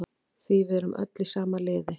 Því við erum öll í sama liði.